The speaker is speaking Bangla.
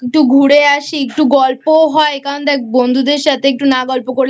একটু ঘুরে আসি একটু গল্পও হয় কারণ দেখ বন্ধুদের সাথে একটু না গল্প করলে